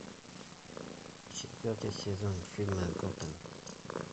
четвертый сезон фильма готэм